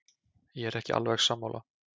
Ég er ekki alveg sammála.